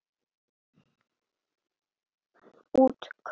Útkoman var Horft frá brúnni.